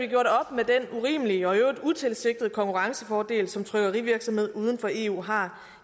med den urimelige og i øvrigt utilsigtede konkurrencefordel som trykkerivirksomheder uden for eu har